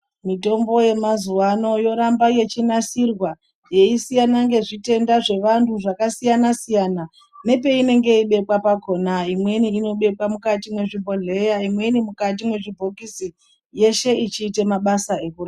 Mitombo yemazuwano yoramba yechinasirwa yeisiyana ngezvitenda zvevantu zvakasiyana siyana nepeinenge yeibekwa pakona imweni inobekwa muzvibhodhleya imweni mukati mwezvibhokisi yeshe ichiita mabasa ekurapa.